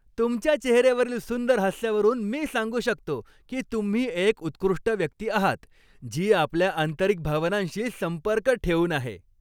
तुमच्या चेहऱ्यावरील सुंदर हास्यावरून मी सांगू शकतो की तुम्ही एक उत्कृष्ट व्यक्ती आहात, जी आपल्या आंतरिक भावनांशी संपर्क ठेवून आहे.